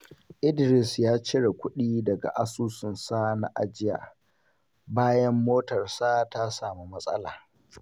Za mu rage yawan amfani da wutar lantarki don tanadi idan kudin NEPA ya hau.